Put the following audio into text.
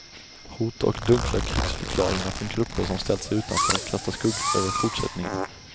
Hot och dunkla krigsförklaringar från grupper som ställt sig utanför kastar skuggor över fortsättningen.